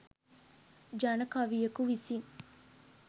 ජන කවියකු විසින්